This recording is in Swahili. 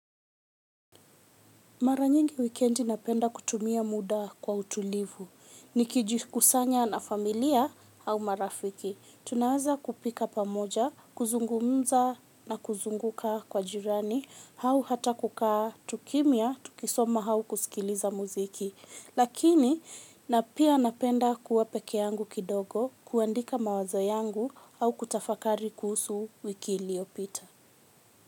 Mara nyingi wikendi napenda kutumia muda kwa utulivu, ni kijikusanya na familia au marafiki. Tunaweza kupika pamoja, kuzungumza na kuzunguka kwa jirani, au hata kukaa tu kimya, tukisoma au kusikiliza muziki. Lakini na pia napenda kuwa pekeyangu kidogo, kuandika mawazo yangu au kutafakari kuhusu wiki iliyopita.